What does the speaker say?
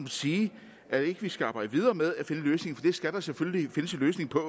sige at vi ikke skal arbejde videre med at finde en løsning for skal selvfølgelig findes en løsning på